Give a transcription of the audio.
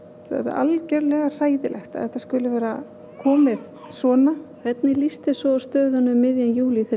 algjörlega hræðilegt að þetta skuli vera komið svona hvernig líst þér svo á stöðuna um miðjan júlí þegar